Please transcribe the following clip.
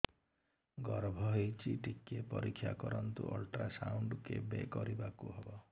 ଗର୍ଭ ହେଇଚି ଟିକେ ପରିକ୍ଷା କରନ୍ତୁ ଅଲଟ୍ରାସାଉଣ୍ଡ କେବେ କରିବାକୁ ହବ